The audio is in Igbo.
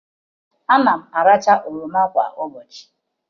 Ana m aracha oroma kwa ụbọchụ